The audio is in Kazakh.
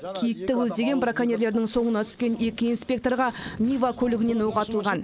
киікті көздеген броконьерлердің соңына түскен екі инспекторға нива көлігінен оқ атылған